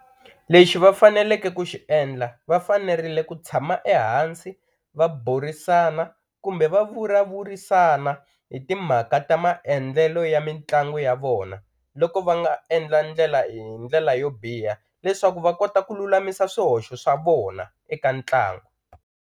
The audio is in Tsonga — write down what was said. Lexi va faneleke ku xi endla va fanerile ku tshama ehansi va burisana kumbe va vulavurisana hi timhaka ta maendlelo ya mitlangu ya vona loko va nga endla ndlela hi ndlela yo biha leswaku va kota ku lulamisa swihoxo swa vona eka ntlangu.